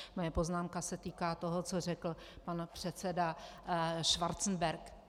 Moje poznámka se týká toho, co řekl pan předseda Schwarzenberg.